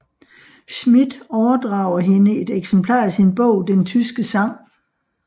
Schmidt overdrager hende et eksemplar af sin bog Den tyske sang